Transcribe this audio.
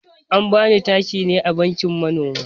An bani takin ne a bankin manoma.